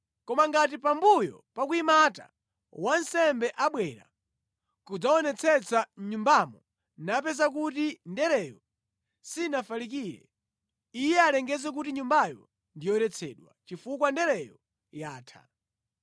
“Koma ngati pambuyo pa kuyimata, wansembe abwera kudzaonetsetsa mʼnyumbamo napeza kuti ndereyo sinafalikire, iye alengeze kuti nyumbayo ndi yoyeretsedwa, chifukwa ndereyo yatha.